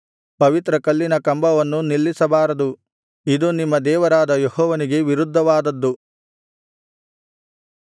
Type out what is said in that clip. ಪವಿತ್ರ ಕಲ್ಲಿನ ಕಂಬವನ್ನೂ ನಿಲ್ಲಿಸಬಾರದು ಇದು ನಿಮ್ಮ ದೇವರಾದ ಯೆಹೋವನಿಗೆ ವಿರುದ್ಧವಾದದ್ದು